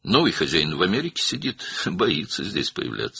Yeni sahibi Amerikada oturur, burada görünməkdən qorxur.